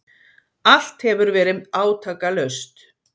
Allt hefur verið átakalaust.